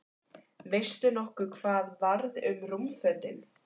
Veistu nokkuð hvað varð um rúmfötin?